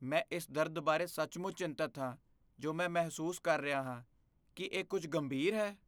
ਮੈਂ ਇਸ ਦਰਦ ਬਾਰੇ ਸੱਚਮੁੱਚ ਚਿੰਤਤ ਹਾਂ ਜੋ ਮੈਂ ਮਹਿਸੂਸ ਕਰ ਰਿਹਾ ਹਾਂ। ਕੀ ਇਹ ਕੁੱਝ ਗੰਭੀਰ ਹੈ?